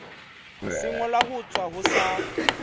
sengolwa ho tswa ho sa